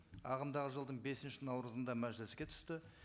ағымдағы жылдың бесінші наурызында мәжіліске түсті